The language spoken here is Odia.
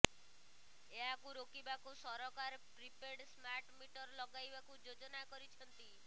ଏହାକୁ ରୋକିବାକୁ ସରକାର ପ୍ରିପେଡ ସ୍ମାର୍ଟ ମିଟର ଲଗାଇବାକୁ ଯୋଜନା କରିଛନ୍ତି